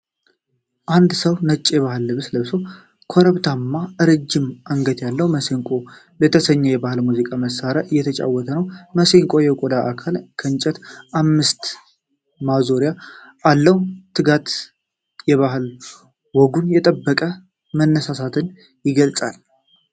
አንድ ሰው ነጭ የባህል ልብስ ለብሶ ኮረብታማና ረጅም አንገት ያለው ማሲንቆ የተሰኘ የባህል የሙዚቃ መሣሪያ እየተጫወተ ነው። ማሲንቆው የቆዳ አካልና የእንጨት አምስት ማዞሪያ አለው። ትጋት እና የባሕል ወጉን የመጠበቅ መነሳሳትን ይገልጻል።